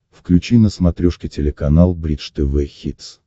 включи на смотрешке телеканал бридж тв хитс